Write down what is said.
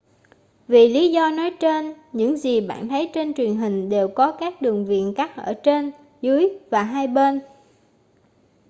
vì lý do nói trên những gì bạn thấy trên truyền hình đều có các đường viền cắt ở trên dưới và hai bên